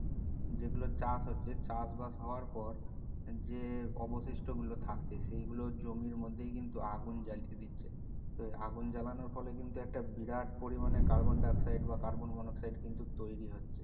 যেগুলা চাষ হচ্ছে চাষ বাস হওয়ার পর যে অবশিষ্ট গুলো থাকে সে গুলো জমির মধ্যে কিন্তু আগুন জ্বালিয়ে দিচ্ছে আগুন জ্বালানর ফলে কিন্তু একটা বিরাট পরিমানে carbon dioxide বা carbon monoxide কিন্তু তৈরি হচ্ছে